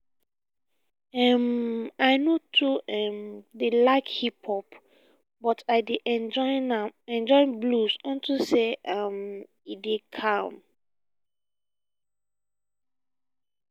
um i no um dey like hip hop but i dey enjoy blues unto say um e dey calm